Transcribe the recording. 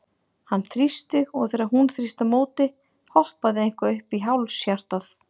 Hann þrýsti, og þegar hún þrýsti á móti, hoppaði eitthvað upp í háls hjartað?